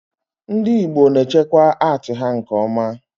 ndị Igbo na echekwa atii ha nke oma